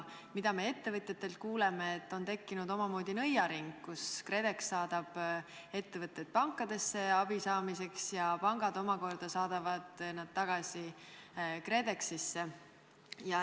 Me kuuleme ettevõtjatelt, et on tekkinud omamoodi nõiaring: KredEx saadab ettevõtted pankadesse abi saamiseks ja pangad omakorda saadavad nad tagasi KredExisse.